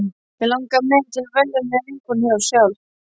Mig langaði meira til að velja mér vinkonur sjálf.